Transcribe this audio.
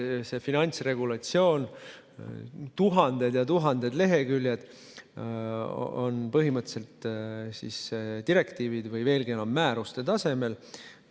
See finantsregulatsioon, tuhanded ja tuhanded leheküljed, on põhimõtteliselt direktiivid või, veelgi enam, määruste tasemel.